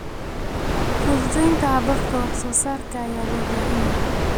Fududeynta hababka wax soo saarka ayaa loo baahan yahay.